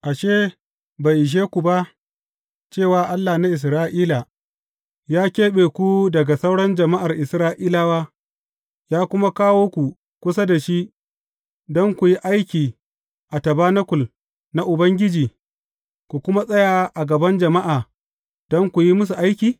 Ashe, bai ishe ku ba, cewa Allah na Isra’ila, ya keɓe ku daga sauran jama’ar Isra’ilawa, ya kuma kawo ku kusa da shi don ku yi aiki a tabanakul na Ubangiji, ku kuma tsaya a gaba jama’a don ku yi musu aiki?